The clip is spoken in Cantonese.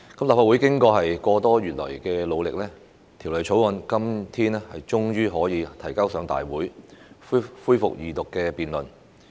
立法會經過個多月以來的努力，《條例草案》今天終於可以提交大會，恢復二讀辯論。